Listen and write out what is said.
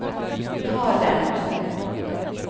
ta den